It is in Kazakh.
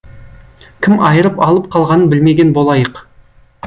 кім айырып алып қалғанын білмеген болайық